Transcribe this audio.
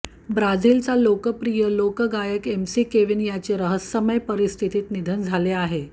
ब्राझीलचा लोकप्रिय लोक गायक एमसी केविन याचे रहस्यमय परिस्थितीत निधन झाले आहे